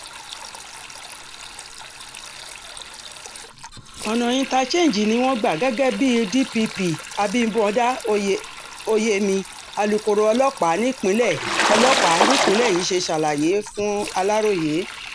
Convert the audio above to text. ọ̀nà inter change ni wọ́n gbà gẹ́gẹ́ bí d-p-p abimbuodá oye oyemi alūkkoro ọlọ́pàá nípìnlẹ̀ ọlọ́pàá nípìnlẹ̀ yìí ṣe ṣàlàyé furaroye